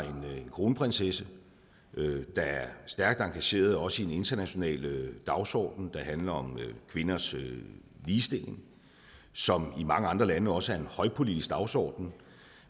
en kronprinsesse der er stærkt engageret også i den internationale dagsorden der handler om kvinders ligestilling som i mange andre lande også er en højpolitisk dagsorden